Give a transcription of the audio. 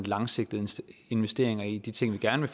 langsigtede investeringer i de ting vi gerne